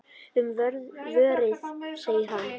Um vorið, segir hann.